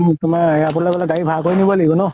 পালে airport লে গলে গাড়ী ভাড়া কৰি নব লাগিব ন?